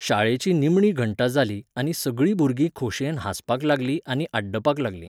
शाळेची निमणी घंटा जाली आनी सगळीं भुरगीं खोशयेन हांसपाक लागलीं आनी आड्डुपाक लागलीं.